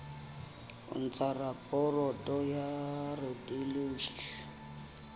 ho ntsha raporoto ya radiology